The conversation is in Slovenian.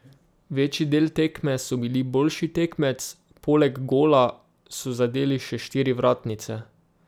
Večji del tekme so bili boljši tekmec, poleg gola so zadeli še štiri vratnice.